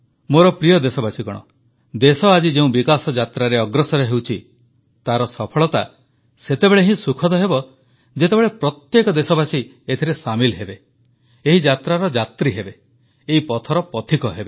ମୋର ପ୍ରିୟ ଦେଶବାସୀଗଣ ଦେଶ ଆଜି ଯେଉଁ ବିକାଶ ଯାତ୍ରାରେ ଅଗ୍ରସର ହେଉଛି ତାର ସଫଳତା ସେତେବେଳେ ହିଁ ସୁଖଦ ହେବ ଯେତେବେଳେ ପ୍ରତ୍ୟେକ ଦେଶବାସୀ ଏଥିରେ ସାମିଲ୍ ହେବେ ଏହି ଯାତ୍ରାର ଯାତ୍ରୀ ହେବେ ଏହି ପଥର ପଥିକ ହେବେ